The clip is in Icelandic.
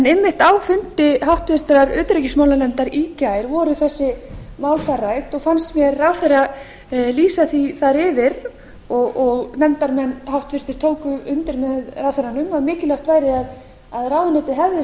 einmitt á fundi háttvirtrar utanríkismálanefndar í gær voru þessi mál þar rædd og fannst mér ráðherra lýsa því þar yfir og nefndarmenn háttvirtur tóku undir með ráðherranum að mikilvægt væri að ráðuneytið hefði